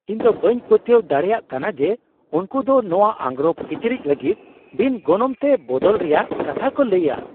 ᱤᱧᱫᱚ ᱵᱟᱹᱧ ᱯᱟᱹᱛᱭᱟᱹᱣ ᱫᱟᱲᱮᱭᱟᱜ ᱠᱟᱱᱟ ᱡᱮ ᱩᱱᱠᱩ ᱫᱚ ᱱᱚᱶᱟ ᱟᱝᱨᱚᱯᱼᱠᱤᱪᱨᱤᱡ ᱞᱟᱹᱜᱤᱫ ᱵᱤᱱ ᱜᱚᱱᱚᱝᱛᱮ ᱵᱚᱫᱚᱞ ᱨᱮᱭᱟᱜ ᱠᱟᱛᱷᱟ ᱠᱚ ᱞᱟᱹᱭᱼᱟ ᱾